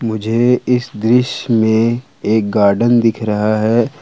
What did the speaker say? मुझे इस दृश्य में एक गार्डन दिख रहा है।